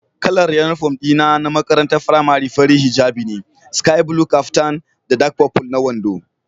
Kalar uniform dina na makarantar firamare fari hijab ne, sky blue caftan da dark purple na wando.